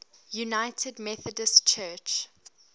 united methodist church